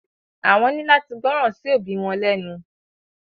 Àwọn ni láti gbọràn sí òbí wọn lẹnu.